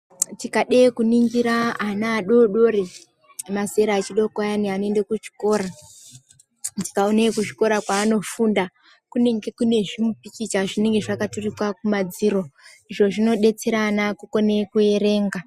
Tikade kuningira ana adodori emazera echidoko ayana anoende kuchikora. Tikaone ekuzvikora kwaanofunda, kunenge kune zvimupikicha zvinenge zvakaturikwa kumadziro. Izvo zvinodetsera ana kukone kuerenga.